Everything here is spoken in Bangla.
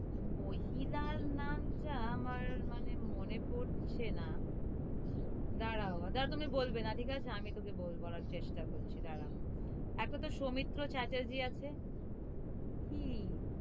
মহিলার নামটা আমার, মানে, মনে পরছে না দাঁড়াও, দাঁড়াও, তুমি বলবে না ঠিক আছে? আমি তোকে বলব, বলার চেষ্টা করছি, দাড়াও এক কথায় সৌমিত্র চ্যাটার্জী আছে। কি,